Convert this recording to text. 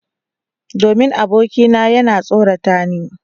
Domin abokina yana tsorata ni.